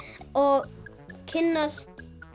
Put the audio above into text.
og kynnast